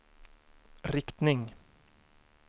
riktning